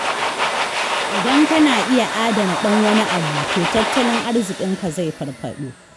Idan kana iya adana ɗan wani abu, to tattalin arziƙinka zai farfaɗo.